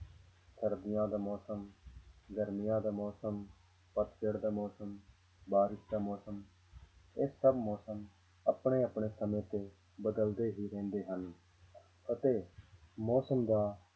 ਸਰਦੀਆਂ ਦਾ ਮੌਸਮ, ਗਰਮੀਆਂ ਦਾ ਮੌਸਮ, ਪੱਤਝੜ ਦਾ ਮੌਸਮ, ਬਾਰਿਸ਼ ਦਾ ਮੌਸਮ, ਇਹ ਸਭ ਮੌਸਮ ਆਪਣੇ ਆਪਣੇ ਸਮੇਂ ਤੇ ਬਦਲਦੇ ਹੀ ਰਹਿੰਦੇ ਹਨ ਅਤੇ ਮੌਸਮ ਦਾ,